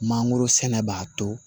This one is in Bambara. Mangoro sɛnɛ b'a to